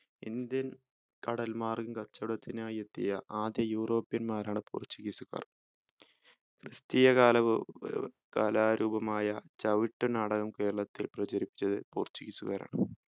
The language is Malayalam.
indian കടൽ മാർഗം കച്ചോടത്തിനായി എത്തിയ ആദ്യ european മാരാണ് portuguese കാർ ക്രിസ്റ്റീയ കാൽ ഏർ കലാരൂപമായ ചവട്ടുനാടകം കേരളത്തിൽ പ്രചരിപ്പിച്ചത് portuguese കാരാണ്